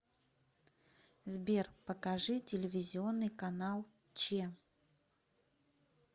сбер покажи телевизионный канал че